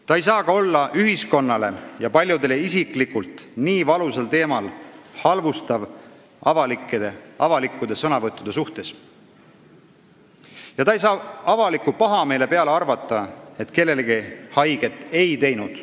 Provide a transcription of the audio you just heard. Ta ei saa ka olla ühiskonnale ja paljudele isiklikult nii valusal teemal halvustav avalikkude sõnavõttude suhtes ja ta ei saa avaliku pahameele peale arvata, et ta kellelegi haiget ei teinud.